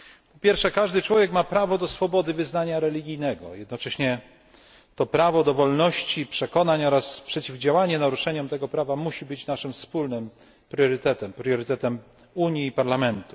Po pierwsze, każdy człowiek ma prawo do swobody wyznania religijnego, jednocześnie to prawo do wolności przekonań oraz przeciwdziałanie naruszeniom tego prawa musi być naszym wspólnym priorytetem priorytetem Unii i Parlamentu.